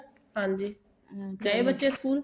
ਹਾਂਜੀ ਗਏ ਬੱਚੇ school